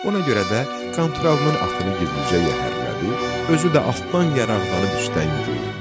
Ona görə də Qanturalının atını gizlicə yəhərlədi, özü də atdan yaraqlanıb üstə endi.